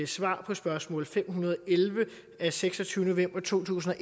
svar på spørgsmål fem hundrede og elleve af seksogtyvende november to tusind og